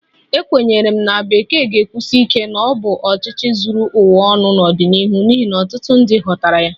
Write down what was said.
Ekwenyere m na Bekee ga-ekwusi ike na ọ bụ ọchịchị zuru ụwa ọnụ n'ọdịnihu n'ihi na ọtụtụ ndị ghọtara ya